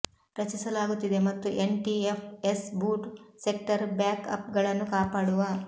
ರಚಿಸಲಾಗುತ್ತಿದೆ ಮತ್ತು NTFS boot sector ಬ್ಯಾಕ್ಅಪ್ಗಳನ್ನು ಕಾಪಾಡುವ